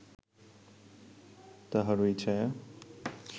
তাহারই ছায়া